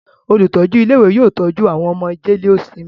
Olùtọ́jú ilé-ìwé yóò tọ́jú àwọn ọmọ jẹ́léósinmi.